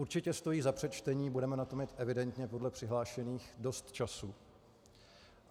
Určitě stojí za přečtení, budeme na to mít evidentně podle přihlášených dost času.